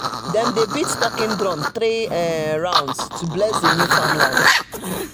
them dey beat talking drum three um rounds to bless the new farmland um